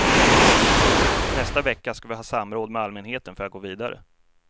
Nästa vecka ska vi ha samråd med allmänheten för att gå vidare.